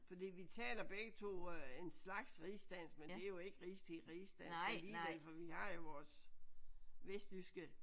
Fordi vi taler begge to en slags rigsdansk men det er jo ikke rigsdansk alligevel for vi har jo vores vestjyske